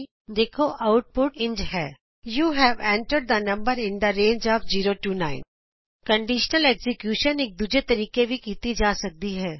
ਅਸੀਂ ਦੇਖਦੇ ਹਾਂ ਆਉਟਪੁਟ ਇੰਝ ਹੈ you have entered the number in the range of 0 9 conditional execution ਇਕ ਦੂਜੇ ਤਰੀਕੇ ਵੀ ਕੀਤੀ ਜਾ ਸਕਦੀ ਹੈ